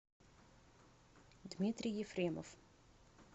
дмитрий ефремов